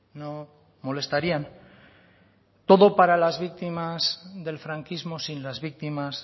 no molestarían todo para las víctimas del franquismo sin las víctimas